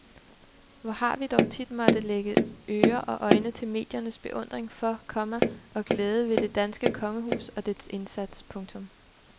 Hvor har vi dog tit måtte lægge ører og øjne til mediernes beundring for, komma og glæde ved det danske kongehus og dets indsats. punktum